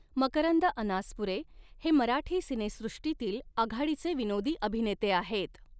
मकरंद अनासपुरे हे मराठी सिनेसॄष्टीतील आघाडीचे विनोदी अभिनेते आहेत.